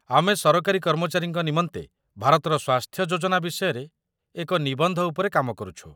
ଆମେ ସରକାରୀ କର୍ମଚାରୀଙ୍କ ନିମନ୍ତେ ଭାରତର ସ୍ୱାସ୍ଥ୍ୟ ଯୋଜନା ବିଷୟରେ ଏକ ନିବନ୍ଧ ଉପରେ କାମ କରୁଛୁ।